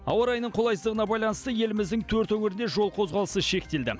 ауа райының қолайсыздығына байланысты еліміздің төрт өңірінде жол қозғалысы шектелді